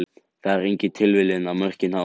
Það er engin tilviljun að mörkin hafa komið.